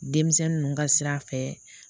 Denmisɛnnin ninnu ka sira fɛ